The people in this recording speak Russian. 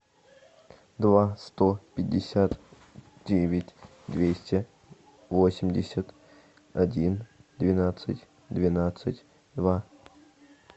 два сто пятьдесят девять двести восемьдесят один двенадцать двенадцать два